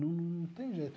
Não tem jeito.